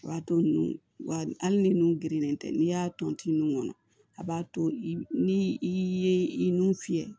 O b'a to nun wa hali ni nun gerennen tɛ n'i y'a ton tin nun kɔnɔ a b'a to i ye i nun fiyɛ